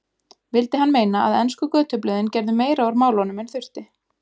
Vildi hann meina að ensku götublöðin gerðu meira úr málunum en þurfti.